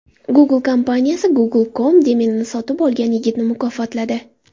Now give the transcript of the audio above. Google kompaniyasi Google.com domenini sotib olgan yigitni mukofotladi.